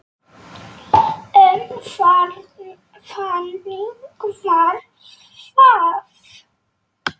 En þannig varð það.